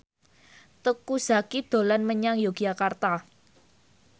Teuku Zacky dolan menyang Yogyakarta